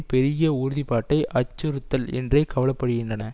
பெருகிய உறுதி பாட்டை அச்சுறுத்தல் என்றே கவலைப்படுகின்றன